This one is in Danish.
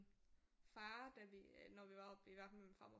Far da vi når vi var oppe ved min farmor